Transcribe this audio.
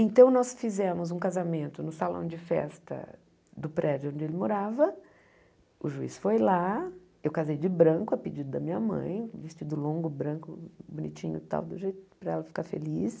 Então, nós fizemos um casamento no salão de festa do prédio onde ele morava, o juiz foi lá, eu casei de branco, a pedido da minha mãe, vestido longo, branco, bonitinho e tal, do jeito para ela ficar feliz.